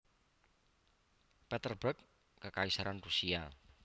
Petersburg Kekaisaran Rusia